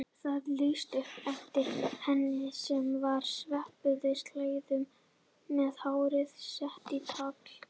Það lýsti upp eftir henni sem var sveipuð slæðum með hárið sett í tagl.